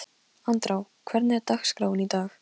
Andrá, hvernig er dagskráin í dag?